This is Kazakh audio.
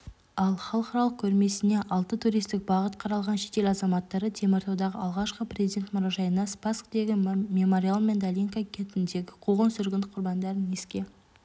ал халықаралық көрмесіне алты туристік бағыт қаралған шетел азаматтары теміртаудағы алғашқы президент мұражайына спасктегі мемориал мен долинка кентіндегі қуғын-сүргін құрбандарын еске